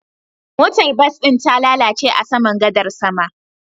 Motar bas ɗin ta lalace a saman gadar sama